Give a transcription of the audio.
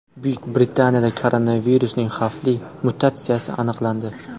Buyuk Britaniyada koronavirusning xavfli mutatsiyasi aniqlandi.